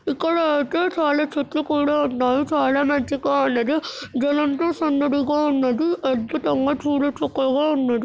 ఇక్కడైతే చాలా చెట్లు కూడా ఉన్నాయి చాలా మంచిగా ఉన్నది జనంతో సందడిగా ఉన్నది అద్భుతంగా చూడచక్కగా ఉన్నది.